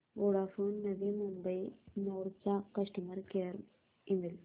Vodafone Navi Mumbai node चा customer care email